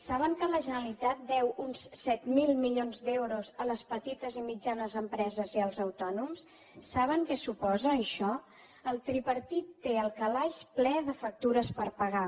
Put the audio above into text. saben que la generalitat deu uns set mil milions d’euros a les petites i mitjanes empreses i als autònoms saben què suposa això el tripartit té el calaix ple de factures per pagar